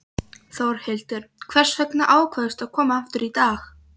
Þórhildur: Hvers vegna ákvaðstu að koma aftur í dag?